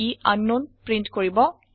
ই আংকনাউন প্ৰীন্ট কৰিব